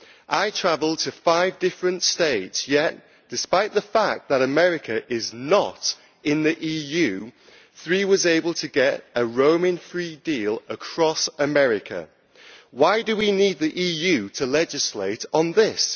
I travelled to five different states, yet despite the fact that America is not in the EU, Three was able to get a roaming free deal across America. Why do we need the EU to legislate on this?